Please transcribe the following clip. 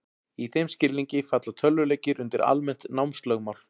Í þeim skilningi falla tölvuleikir undir almennt námslögmál.